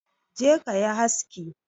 Je kayi haski